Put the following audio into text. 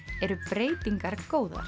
eru breytingar góðar